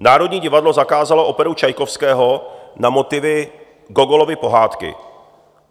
Národní divadlo zakázalo operu Čajkovského na motivy Gogolovy pohádky.